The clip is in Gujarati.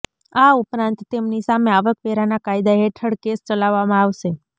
આ ઉપરાંત તેમની સામે આવકવેરાના કાયદા હેઠળ કેસ ચલાવવામાં આવશે